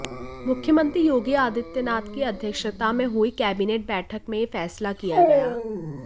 मुख्यमंत्री योगी आदित्यनाथ की अध्यक्षता में हुई कैबिनेट बैठक में ये फैसला किया गया